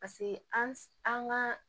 Paseke an ga